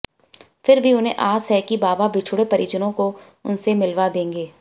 फिर भी उन्हें आस है कि बाबा बिछुड़े परिजनों को उनसे मिलवा देंगे